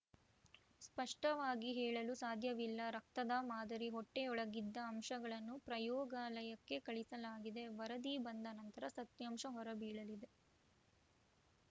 ಸ್ಪಷ್ಟವಾಗಿ ಹೇಳಲು ಸಾಧ್ಯವಿಲ್ಲ ರಕ್ತದ ಮಾದರಿ ಹೊಟ್ಟೆಯೊಳಗಿದ್ದ ಅಂಶಗಳನ್ನು ಪ್ರಯೋಗಾಲಯಕ್ಕೆ ಕಳಿಸಲಾಗಿದೆ ವರದಿ ಬಂದ ನಂತರ ಸತ್ಯಾಂಶ ಹೊರಬೀಳಲಿದೆ